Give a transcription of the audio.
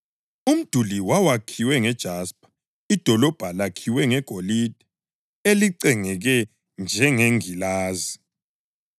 Umduli wawakhiwe ngejaspa, idolobho lakhiwe ngegolide elicengeke njengengilazi.